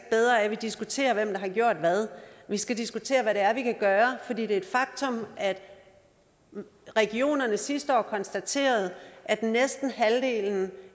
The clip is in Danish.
bedre af at vi diskuterer hvem der har gjort hvad vi skal diskutere hvad det er vi kan gøre for det er et faktum at regionerne sidste år konstaterede at næsten halvdelen